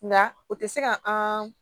Nka o tɛ se ka an